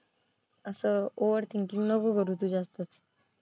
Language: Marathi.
असं ओव्हरथिंगकिंग नको करू तू जास्त.